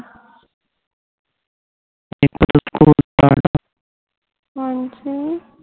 ਹਾਂਜੀ